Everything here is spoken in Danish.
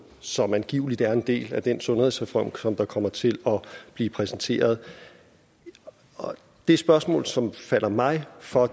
som angiveligt er en del af den sundhedsreform der kommer til at blive præsenteret det spørgsmål som falder mig for